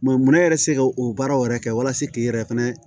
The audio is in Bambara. munɛ yɛrɛ se ka o baaraw yɛrɛ kɛ walasa k'i yɛrɛ fɛnɛ